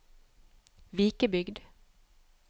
Vikebygd